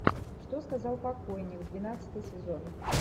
что сказал покойник двенадцатый сезон